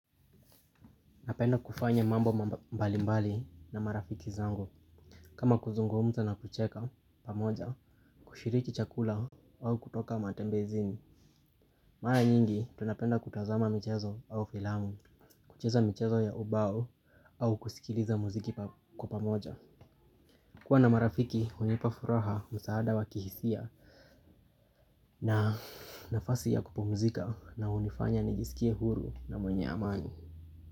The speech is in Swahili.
Napenda kufanya mambo mbalimbali na marafiki zangu. Kama kuzungumza na kucheka pamoja kushiriki chakula au kutoka matembezini. Mara nyingi tunapenda kutazama michezo au filamu. Kucheza michezo ya ubao au kusikiliza muziki kwa pamoja. Kuwa na marafiki hunipa furaha msaada wa kihisia na nafasi ya kupumzika na hunifanya nijisikie huru na mwenye amani.